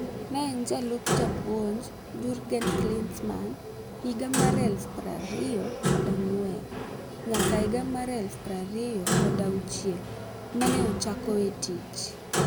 Ne en jalup japuonj Jurgen Klinsmann higa mar 2004 nyaka 2006, mane ochako e tich.